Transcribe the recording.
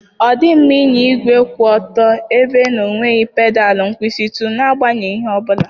Ọ dịghị mma ịnya igwe kwụ otu ebe na-enweghị pedal nkwụsịtụ n'agbanyeghị ihe ọ bụla.